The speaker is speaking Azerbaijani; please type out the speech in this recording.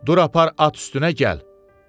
Dur apar at üstünə gəl!